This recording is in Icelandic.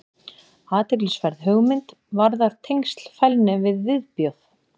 athyglisverð hugmynd varðar tengsl fælni við viðbjóð